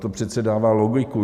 To přece dává logiku.